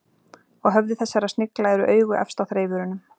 Á höfði þessara snigla eru augu efst á þreifurunum.